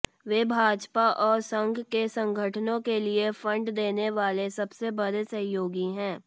वे भाजपा और संघ के संगठनों के लिए फंड देने वाले सबसे बड़े सहयोगी हैं